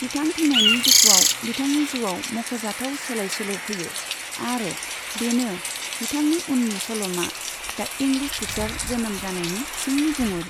बिथां थैनायनि दुखुआव बिथांनि जिउआव मख'जाथाव सोलाय सोल' फैयो आरो बेनो बिथांनि उननि सल'मा दि इंग्लिश टिचार जोनोम जानायनि सिंनि गुमुर।